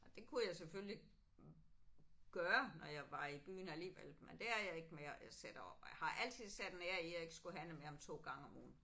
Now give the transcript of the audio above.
Og det kunne jeg selvfølgelig gøre når jeg var i byen alligevel men det er jeg ikke mere. Jeg sætter har altid sat en ære i at jeg ikke skulle handle mere end to gange om ugen